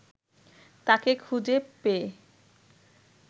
তাঁকে খুঁজে পেয়ে